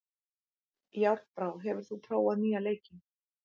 Járnbrá, hefur þú prófað nýja leikinn?